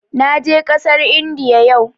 Na je ƙasar Indiya yau